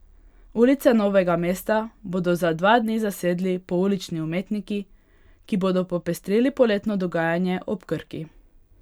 Ulice Novega mesta bodo za dva dni zasedli poulični umetniki, ki bodo popestrili poletno dogajanje ob Krki.